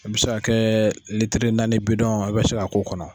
i bi se k'a kɛ bɛ naani i bi se k'a k'o kɔnɔ.